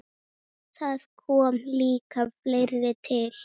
Þar kom líka fleira til.